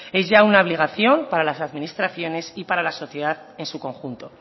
es ya una obligación para las administraciones y para la sociedad en su conjunto